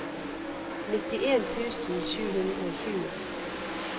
nittien tusen sju hundre og tjue